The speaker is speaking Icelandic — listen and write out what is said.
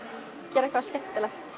gera eitthvað skemmtilegt